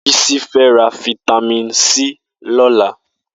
Bisi fè rà fitàmín si lọ̀lá